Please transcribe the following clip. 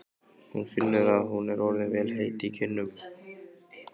Hún finnur að hún er orðin vel heit í kinnum.